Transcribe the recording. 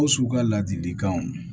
Ko su ka ladilikanw